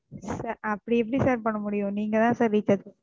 சா அப்படி எப்படி Sir பண்ண முடியும் நீங்க தான Sir recharge ப,